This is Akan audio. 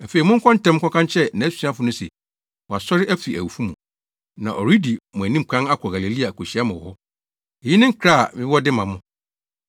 Afei monkɔ ntɛm nkɔka nkyerɛ nʼasuafo no se, ‘Wasɔre afi awufo mu, na ɔredi mo anim kan akɔ Galilea akohyia mo wɔ hɔ.’ Eyi ne nkra a mewɔ de ma mo.”